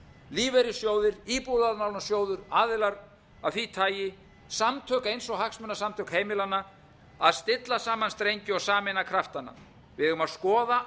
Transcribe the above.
lífeyrissjóðir íbúðalánasjóður aðilar af því tagi samtök eins og hagsmunasamtök heimilanna að stilla saman strengi og sameina kraftana við eigum að skoða